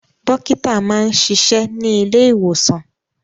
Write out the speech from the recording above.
Dọ́kítá máa ń ṣiṣẹ́ ní ilé-ìwòsàn.